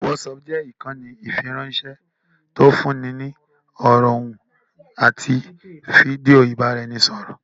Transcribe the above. Whatsapp jẹ́ ìkànnì ìfiránṣẹ́ tí ń fúnni ní ọ̀rọ̀, ohùn àti fídíò ìbá'r'ẹnisọ̀rọ̀